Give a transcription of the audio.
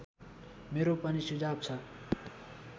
मेरो पनि सुझाव छ